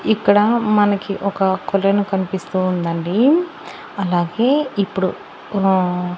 ఇక్కడ మనకి ఒక కొలెను కనిపిస్తూ ఉందండి అలాగే ఇప్పుడు ఊ.